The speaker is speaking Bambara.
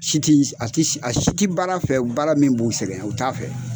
Si ti s a ti s a si ti baara fɛ u baara min b'u sɛgɛn u t'a fɛ.